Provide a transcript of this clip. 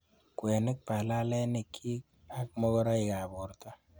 Kwenik balalenikyik ak mokoroikab borto.